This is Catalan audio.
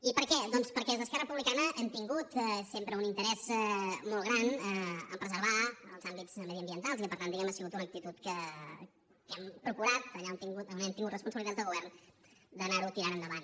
i per què doncs perquè des d’esquerra republicana hem tingut sempre un interès molt gran a preservar els àmbits mediambientals i per tant diguemne ha sigut una actitud que hem procurat allà on hem tingut responsabilitats de govern d’anarho tirant endavant